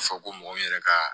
Fɔ ko mɔgɔ yɛrɛ ka